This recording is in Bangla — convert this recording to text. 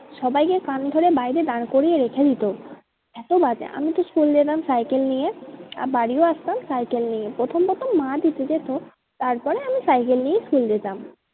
সবাইকে কান ধরে বাইরে দাঁড় করিয়ে রেখে দিতো। এতো বাজে, আমি তো school যেতাম সাইকেল নিয়ে আর বাড়িও আসতাম সাইকেল নিয়ে। প্রথম প্রথম মা দিতে যেত তারপরে আমি সাইকেল নিয়েই school যেতাম।